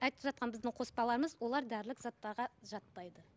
айтып жатқан жаңағы қоспаларымыз олар дәрілік заттарға жатпайды